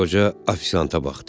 Qoca ofisianta baxdı.